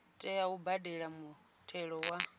tea u badela muthelo wa